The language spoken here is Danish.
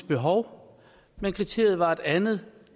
behov kriteriet var et andet